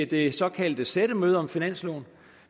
det såkaldte sættemøde om finansloven